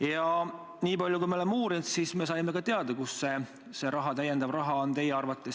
Ja nii palju, kui me oleme uurinud, oleme ka teada saanud, kust see lisaraha teie arvates tulema peaks.